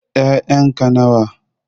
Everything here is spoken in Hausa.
Ƴayan ka nawa?